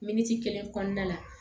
Miniti kelen kɔnɔna la